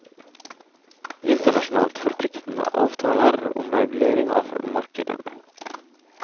Internasjonalt forpliktende avtaler om regulering av markedene.